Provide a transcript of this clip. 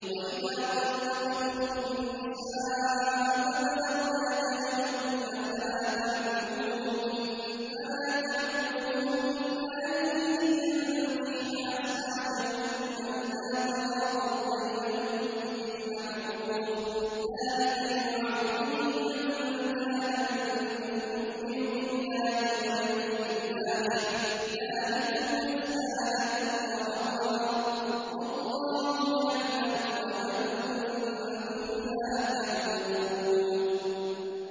وَإِذَا طَلَّقْتُمُ النِّسَاءَ فَبَلَغْنَ أَجَلَهُنَّ فَلَا تَعْضُلُوهُنَّ أَن يَنكِحْنَ أَزْوَاجَهُنَّ إِذَا تَرَاضَوْا بَيْنَهُم بِالْمَعْرُوفِ ۗ ذَٰلِكَ يُوعَظُ بِهِ مَن كَانَ مِنكُمْ يُؤْمِنُ بِاللَّهِ وَالْيَوْمِ الْآخِرِ ۗ ذَٰلِكُمْ أَزْكَىٰ لَكُمْ وَأَطْهَرُ ۗ وَاللَّهُ يَعْلَمُ وَأَنتُمْ لَا تَعْلَمُونَ